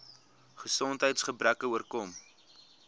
gesondheids gebreke oorkom